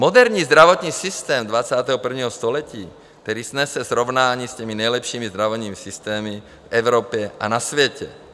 Moderní zdravotní systém 21. století, který snese srovnání s těmi nejlepšími zdravotními systémy v Evropě a na světě.